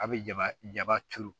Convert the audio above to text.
A' bɛ ja jaba turu